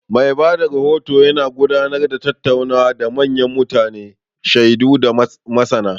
Mai ba da rahoto yana gudanar da tattaunawa da manyan mutane, shaidu, da masana.